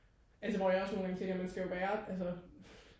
altså hvor jeg også nogle gange tænker at man skal jo være altså